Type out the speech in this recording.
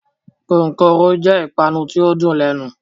Kókóró jẹ ìpanu ti o n dùn lẹnu.